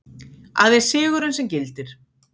Aðeins sigurinn sem gildir.